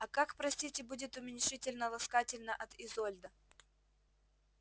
а как простите будет уменьшительно-ласкательно от изольда